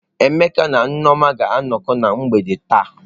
Emeka na Nneoma ga-anọkọ na mgbede taa.